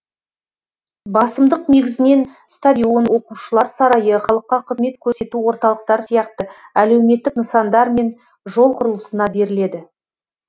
басымдық негізінен стадион оқушылар сарайы халыққа қызмет көрсету орталықтары сияқты әлеуметтік нысандар мен жол құрылысына беріледі